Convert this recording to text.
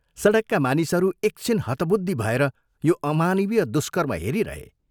सडकका मानिसहरू एकछिन हतबुद्धि भएर यो अमानवीय दुष्कर्म हेरिहे।